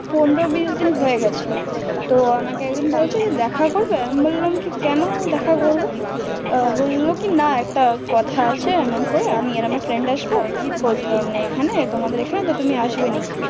Phone টা হয়ে গেছিলো তো আমাকে একদিন বলছে তুমি দেখা করবে, আমি বললাম কি কোনো দেখা করবো? ও বললো না একটা কথা আছে এমন করে আমি আর আমার friend আসবে তোমাদের ওইখানে তুমি আসবে নাকি?